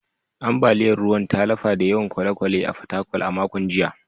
Ambaliyar ruwan ta lafa da yawan kwale-kwale a Fatakwal a makon jiya